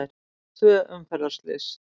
Tvö umferðarslys